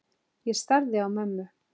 Ég starði á mömmu.